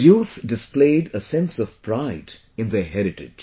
The youth displayed a sense of pride in their heritage